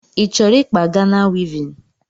Ịchọrọ ịkpa Gana wivin?